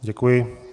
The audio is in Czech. Děkuji.